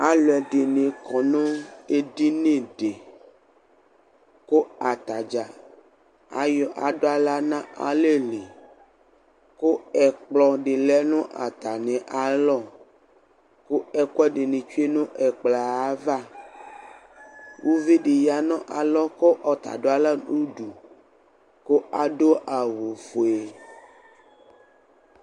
alɔɛdini kɔnu edini di ku ata dʒa adala nu alɛli ku ɛkplɔ di lɛ nu ata mialɔ ku ɛkɔɛdini tsoe nu ɛklpɔɛ ava uvidi ɣa nu alɔ kɔ ɔta da la nu du ku adu awu foe